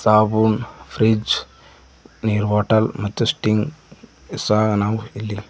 ಹಾಗು ಫ್ರಿಡ್ಜ್ ನೀರ್ ಬಾಟಲ್ ಮತ್ತು ಸ್ಟಿಂಗ್ ಸಹ ನಾವು ಇಲ್ಲಿ--